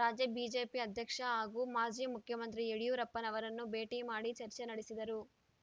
ರಾಜ್ಯ ಬಿಜೆಪಿ ಅಧ್ಯಕ್ಷ ಹಾಗೂ ಮಾಜಿ ಮುಖ್ಯಮಂತ್ರಿ ಯಡಿಯೂರಪ್ಪನವರನ್ನು ಭೇಟಿ ಮಾಡಿ ಚರ್ಚೆ ನಡೆಸಿದರು